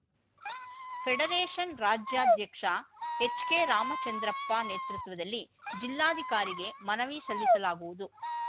federation ರಾಜ್ಯಾಧ್ಯಕ್ಷ H K Ramachandrappa ನೇತೃತ್ವದಲ್ಲಿ ಜಿಲ್ಲಾಧಿಕಾರಿಗೆ ಮನವಿ ಸಲ್ಲಿಸಲಾಗುವುದು